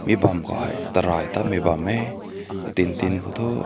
me bang ko hae tang na bam meh din tin tin.